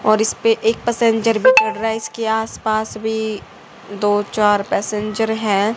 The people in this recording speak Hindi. और इसपे एक पैसेंजर भी चढ़ रहा है इसके आसपास भी दो चार पैसेंजर है।